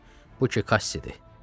Hə, bu ki Kassidir.